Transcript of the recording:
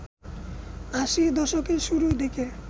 আশির দশকের শুরুর দিকে